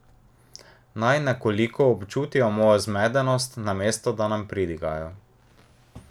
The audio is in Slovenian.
Naj nekoliko občutijo mojo zmedenost, namesto da nam pridigajo!